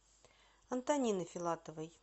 антонины филатовой